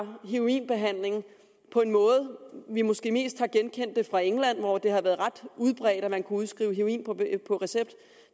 heroinbehandling på en måde som vi måske mest kan genkende fra england hvor det har været ret udbredt at man kunne udskrive heroin på recept